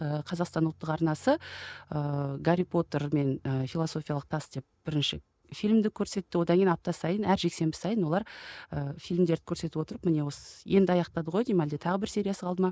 ыыы қазақстан ұлттық арнасы ыыы гарри потер мен ы философиялық тас деп бірінші фильмді көрсетті одан кейін апта сайын әр жексенбі сайын олар ыыы фильмдерді көрсетіп отырып міне енді аяқтады ғой деймін әлде тағы бір сериясы қалды ма